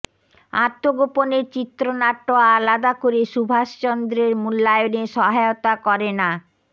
আত্মগোপনের চিত্রনাট্য আলাদা করে সুভাষচন্দ্রের মূল্যায়নে সহায়তা করে না